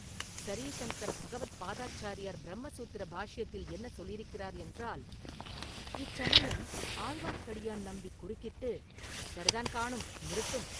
"ஸரீ சங்கர பகவத் பாதாச்சாரியார் பிரம்ம சூத்திர பாஷ்யத்தில் என்ன சொல்லியிருக்கிறார் என்றால்….” இச்சமயம் ஆழ்வார்க்கடியான் நம்பி குறுக்கிட்டு, "சரிதான் காணும், நிறுத்தும்!"